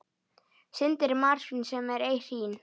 Syndir marsvín sem ei hrín.